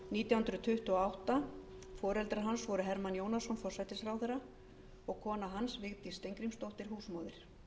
nítján hundruð tuttugu og átta foreldrar hans voru hermann jónasson forsætisráðherra og kona hans vigdís steingrímsdóttir húsmóðir